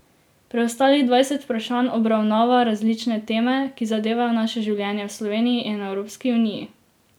Preostalih dvajset vprašanj obravnava različne teme, ki zadevajo naše življenje v Sloveniji in Evropski uniji.